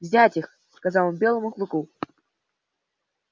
взять их сказал он белому клыку